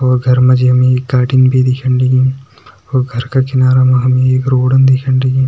और घर मा जी हमि एक कार्टिन भिन दिखेण लगीं और घर का किनारा मा हमि एक रोडन दिखेण लगीं।